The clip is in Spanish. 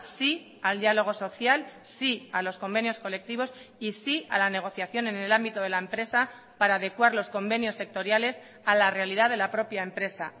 sí al diálogo social sí a los convenios colectivos y sí a la negociación en el ámbito de la empresa para adecuar los convenios sectoriales a la realidad de la propia empresa